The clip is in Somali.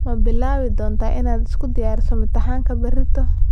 Ma bilaabi doontaa inaad isku diyariso imtixaanka berrito?